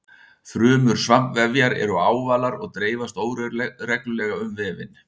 Frumur svampvefjar eru ávalar og dreifast óreglulega um vefinn.